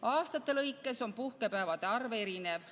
Aastate lõikes on puhkepäevade arv erinev.